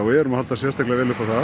erum að halda sérstaklega upp á það